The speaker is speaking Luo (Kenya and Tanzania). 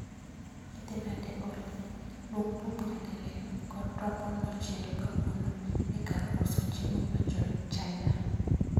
Idhi nade Olly, luong buomb nyadiriyo kod rabuon mochiel kowuok e kar uso chiemo mar jo Chaina